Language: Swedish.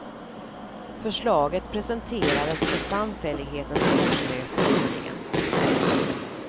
Förslaget presenterades på samfällighetens årsmöte nyligen.